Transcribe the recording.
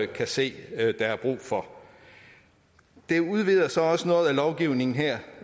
kan se der er brug for det udvider så også noget af lovgivningen her